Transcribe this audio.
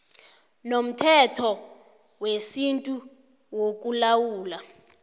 nomthetho wesintu wokulawula